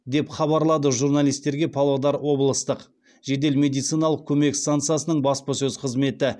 деп хабарлады журналистерге павлодар облыстық жедел медициналық көмек стансасының баспасөз қызметі